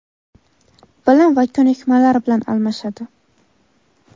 bilim va ko‘nikmalar bilan almashadi.